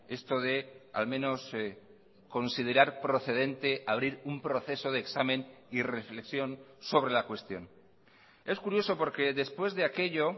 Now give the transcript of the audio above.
esto de al menos considerar procedente abrir un proceso de examen y reflexión sobre la cuestión es curioso porque después de aquello